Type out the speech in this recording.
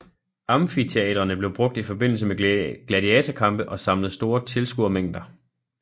Amfiteatrerne blev brugt i forbindelse med gladiatorkampe og samlede store tilskuermængder